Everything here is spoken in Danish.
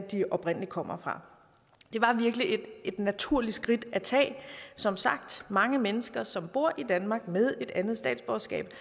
de oprindelig kommer fra det var virkelig et naturligt skridt at tage som sagt mange mennesker som bor i danmark med et andet statsborgerskab